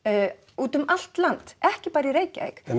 út um allt land ekki bara í Reykjavík